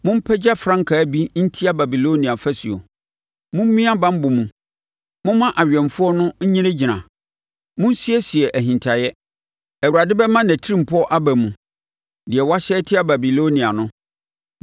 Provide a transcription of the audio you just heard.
Mompagya frankaa bi ntia Babilonia afasuo! Mommia banbɔ mu, momma awɛmfoɔ no nnyinagyina. Monsiesie ahintaeɛ! Awurade bɛma nʼatirimpɔ aba mu, deɛ wahyɛ atia Babilonia no.